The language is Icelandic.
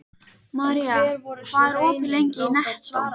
Marja, hvað er opið lengi í Nettó?